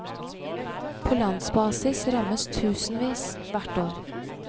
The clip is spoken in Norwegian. På landsbasis rammes tusenvis hvert år.